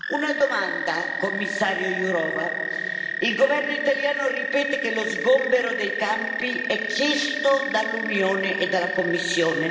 Una domanda, commissario Jourová il governo italiano ripete che lo sgombero dei campi è chiesto dall'Unione e dalla Commissione.